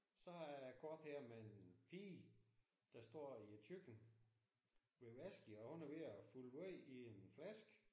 Så har jeg et kort her med en pige der står i et køkken ved vasken og hun er ved at fylde wåj i en flaske